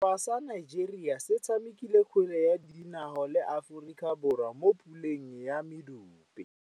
Setlhopha sa Nigeria se tshamekile kgwele ya dinaô le Aforika Borwa mo puleng ya medupe.